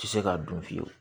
Ti se ka dun fiyewu